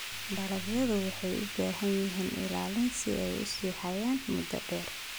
Dalagyadu waxay u baahan yihiin ilaalin si ay u sii hayaan muddo dheer.